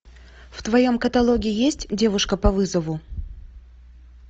в твоем каталоге есть девушка по вызову